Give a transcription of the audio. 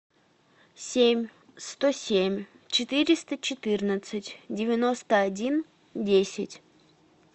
семь сто семь четыреста четырнадцать девяносто один десять